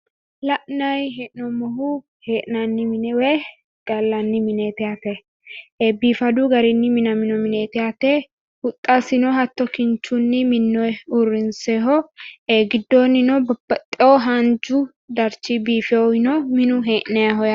La'nayi hee'noonmohu hee'nanni mine woy gallanni mineeti yaate . biifadu garinni minamino mineeti yaate huxxasino hatto kinchunni minnoyi uurrinsoyho. Giddoonnino babbaaxxewo haanchu darchi biifewowi no minu hee'nayiho yaate.